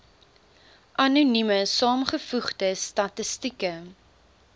anonieme saamgevoegde statistieke